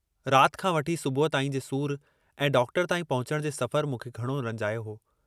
रात खां वठी सुबुह ताईं जे सूर ऐं डॉक्टर ताईं पहुचण जे सफ़र मूंखे घणो रंजायो हो।